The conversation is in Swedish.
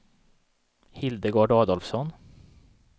Hildegard Adolfsson